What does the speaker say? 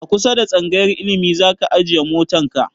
A kusa da tsangayar ilimi zaka ajiye motan ka?